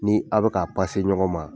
Ni a' bɛ ka ɲɔgɔn ma.